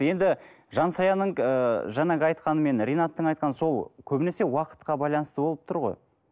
енді жансаяның ы жаңағы айтқаны мен ренаттың айтқаны сол көбінесе уақытқа байланысты болып тұр ғой